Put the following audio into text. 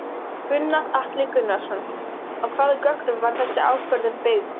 Gunnar Atli Gunnarsson: Á hvaða gögnum var þessi ákvörðun byggð?